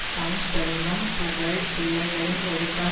தம் செல்வம் புகழ் பிள்ளைகளின் ஒழுக்கம்